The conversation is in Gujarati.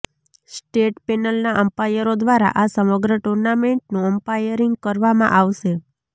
સ્ટેટ પેનલના અમ્પાયરો દ્વારા આ સમગ્ર ટુર્નામેન્ટનું અમ્પાયરીંગ કરવામાં આવશે